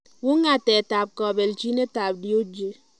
Wungatet ab kapelchinetab Dewji?